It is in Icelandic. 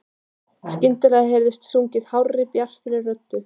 Skyndilega heyrist sungið hárri, bjartri röddu.